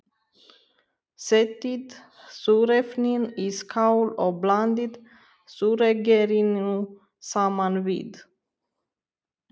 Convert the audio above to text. Setjið þurrefnin í skál og blandið þurrgerinu saman við.